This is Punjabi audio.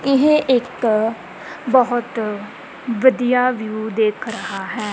ਇਹ ਇੱਕ ਬਹੁਤ ਵਧੀਆ ਵਿਊ ਦੇਖ ਰਹਾ ਹੈ।